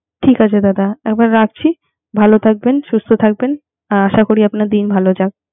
ঠিক আছে দাদা রাখছি। ভালো থাকবেন। সুস্থ থাকবেন, আশা করি আপনার দিন ভালো যাক